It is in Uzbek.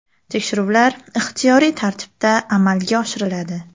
Tekshiruvlar ixtiyoriy tartibda amalga oshiriladi.